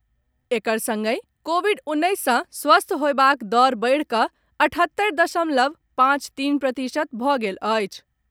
एकर संगहि कोविड उन्नैस सँ स्वस्थ होयबाक दर बढ़िकऽ अठहत्तरि दशमलव पाँच तीन प्रतिशत भऽ गेल अछि।